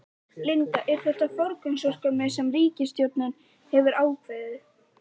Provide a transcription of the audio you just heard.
Linda, er þetta forgangsverkefni sem ríkisstjórnin hefur ákveðið?